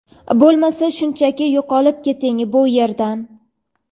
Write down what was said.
bo‘lmasa shunchaki yo‘qolib keting bu yerdan.